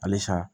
Halisa